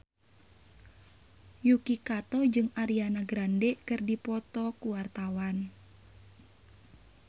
Yuki Kato jeung Ariana Grande keur dipoto ku wartawan